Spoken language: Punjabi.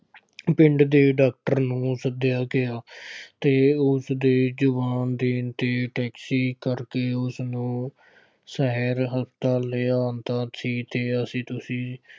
ਪਿੰਡ ਦੇ ਡਾਕਟਰ ਨੂੰ ਸੱਦਿਆ ਗਿਆ ਅਤੇ ਉਸਦੇ ਜਵਾਬ ਦੇਣ ਤੇ ਟੈਕਸੀ ਕਰਕੇ ਉਸਨੂੰ ਸ਼ਹਿਰ ਹਸਪਤਾਲ ਲਿਆਂਦਾ ਸੀ ਅਤੇ ਅਸੀਂ ਤੁਸੀਂ